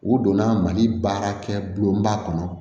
U donna mali baarakɛ bi baa kɔnɔ